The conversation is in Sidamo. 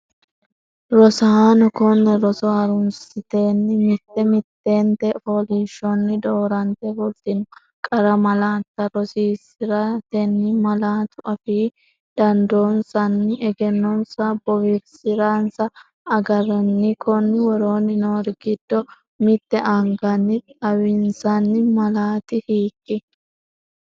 Rosaano konne roso ha’runsatenni mitte mittente fooliishshonni doorante fultino qara malaatta rosiisi’ratenni malaatu afii dandoonsanna egennonsa bowirsi’ransa agarranni, Konni woroonni noori giddo mitte anganni xawinsanni malaati hiik?